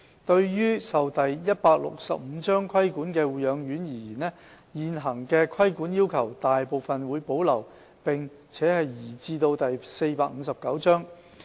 對於受第165章規管的護養院而言，現行的規管要求大部分會保留並移至第459章。